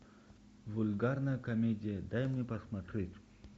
вульгарная комедия дай мне посмотреть